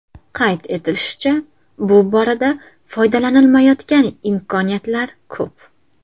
Qayd etilishicha, bu borada foydalanilmayotgan imkoniyatlar ko‘p.